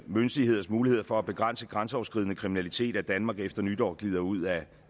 myndigheders muligheder for at begrænse grænseoverskridende kriminalitet at danmark efter nytår glider ud af